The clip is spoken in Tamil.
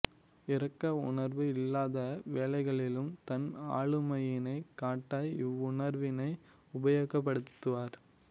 இரக்க உணர்வு இல்லாத வேளைகளிலும் தன் ஆளுமையினை காட்ட இவ்வுணர்வினை உபயோகப்படுத்துவர்